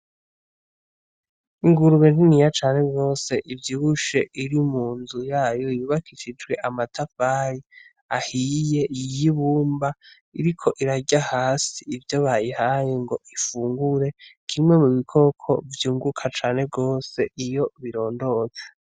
Ingurube niniya cane gose ivyibushe iri mu nzu yayo yubakishijwe amatafari ahiye y'ibumba iriko irarya hasi ivyo bayihaye ngo ifungure kimwe mu bikoko vyunguka cane gose iyo birondotse.